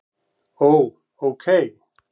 Ó. ókei